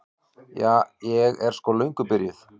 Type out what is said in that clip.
Ja, ég er sko löngu byrjuð.